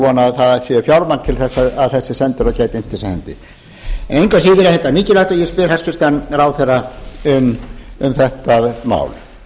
vona að það sé fjármagn til þess að þessi sendiráð gætu innt þetta af hendi engu að síður er þetta mikilvægt og ég